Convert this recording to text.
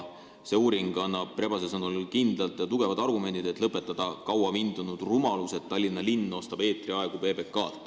See uuring annab Rebase sõnul kindlad ja tugevad argumendid, miks tuleks lõpetada kaua vindunud rumalus, et Tallinna linn ostab PBK-lt eetriaega.